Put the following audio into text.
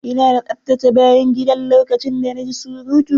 Ina tsaftace bayan gidan lokacin da na ji surutu.